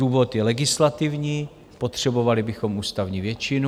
Důvod je legislativní, potřebovali bychom ústavní většinu.